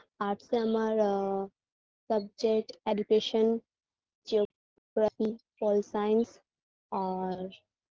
arts -এ আমার আ subject education geography pol science আর